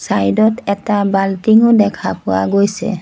Side ত এটা বাল্টিংও দেখা পোৱা গৈছে।